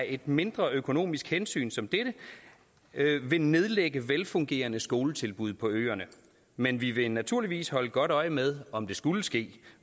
et mindre økonomisk hensyn som dette vil nedlægge velfungerende skoletilbud på øerne men vi vil naturligvis holde godt øje med om det skulle ske